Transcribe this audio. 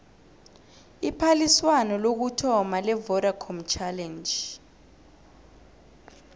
iphaliswano lokuthoma levodacom challenge